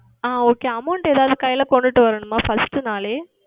ஆஹ் OkayAmount எதாவது கைகளில் கொண்டு வரவேண்டுமா First நாளே